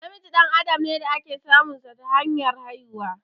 Namiji dan adam ne da ake samun sa ta hanyar haihuwa.